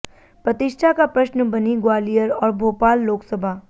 प्रतिष्ठा का प्रश्न बनीं ग्वालियर और भोपाल लोकसभा